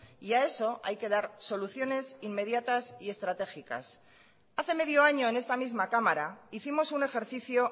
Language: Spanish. y a eso hay que dar soluciones inmediatas y estratégicas hace medio año en esta misma cámara hicimos un ejercicio